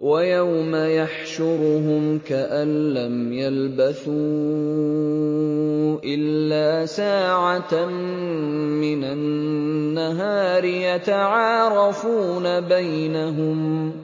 وَيَوْمَ يَحْشُرُهُمْ كَأَن لَّمْ يَلْبَثُوا إِلَّا سَاعَةً مِّنَ النَّهَارِ يَتَعَارَفُونَ بَيْنَهُمْ ۚ